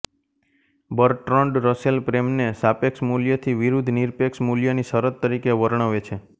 Bertrand Russell પ્રેમને સાપેક્ષ મૂલ્ય થી વિરુદ્ધ નિરપેક્ષ મૂલ્યની શરત તરીકે વર્ણવે છે